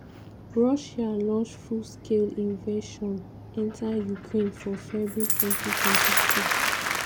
russia launch full-scale invasion enta ukraine for february 2022.